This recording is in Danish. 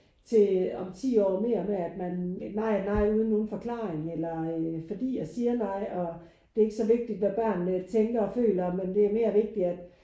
Til om 10 år mere med at man nej nej uden nogen forklaring eller øh fordi jeg siger nej og det er ikke så vigtigt hvad børnene tænker og føler men det er mere vigtig at